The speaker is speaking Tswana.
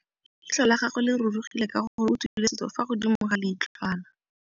Leitlhô la gagwe le rurugile ka gore o tswile sisô fa godimo ga leitlhwana.